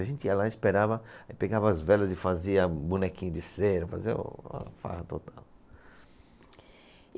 A gente ia lá, esperava, aí pegava as velas e fazia bonequinho de cera, fazia uma farra total.